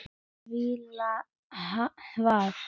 Hvíla hvað?